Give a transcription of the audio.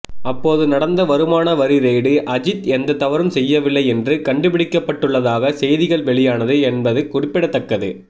அப்போது நடந்த வருமான வரி ரெய்டு அஜித் எந்த தவறும் செய்யவில்லை என்று கண்டுபிடிக்கப்பட்டுள்ளதாக செய்திகள் வெளியானது என்பது குறிப்பிடத்தக்கது